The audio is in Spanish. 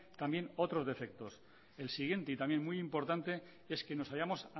también otros defectos el siguiente y también muy importante es que nos hallamos